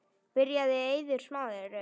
Byrjar Eiður Smári?